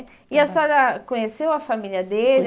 E a senhora conheceu a família dele?